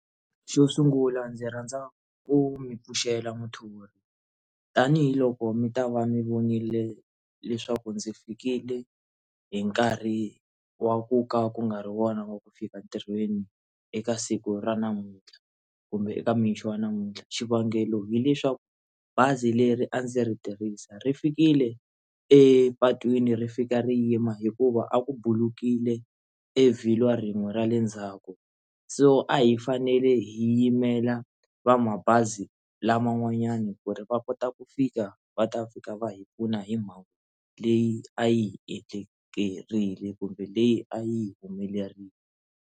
Xo sungula ndzi rhandza ku mi pfuxela muthori tanihiloko mi ta va mi vonile leswaku ndzi fikile hi nkarhi wa ku ka ku nga ri wona wa ku fika entirhweni eka siku ra namuntlha kumbe eka mixo wa namuntlha xivangelo hileswaku bazi leri a ndzi ri tirhisa ri fikile epatwini ri fika ri yima hikuva a ku bulukile evhilwa ririmi ra le ndzhaku so a hi fanele hi yimela va mabazi laman'wanyani ku ri va kota ku fika va ta fika va hi pfuna hi mhaka leyi a yi endlekeriwe kumbe leyi a yi humelerile.